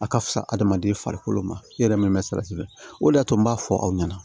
A ka fisa adamaden farikolo ma i yɛrɛ min bɛ salati o de y'a to n b'a fɔ aw ɲɛna